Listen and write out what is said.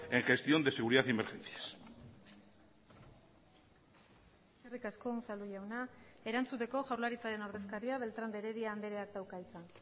en gestión de seguridad y emergencias eskerrik asko unzalu jauna erantzuteko jaurlaritzaren ordezkaria beltrán de heredia andreak dauka hitza